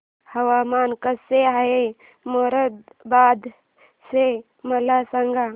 हवामान कसे आहे मोरादाबाद चे मला सांगा